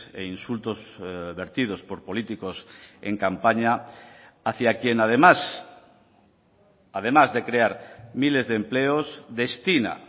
e insultos vertidos por políticos en campaña hacia quien además además de crear miles de empleos destina